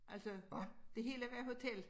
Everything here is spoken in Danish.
Altså det hele var hotel?